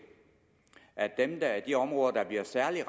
at at de områder der bliver særlig